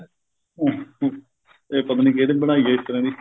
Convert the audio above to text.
ਇਹ ਪਤਾ ਨਹੀਂ ਕਿਹਣੇ ਬਣਾਈ ਹੈ ਇਸ ਤਰ੍ਹਾਂ ਦੀ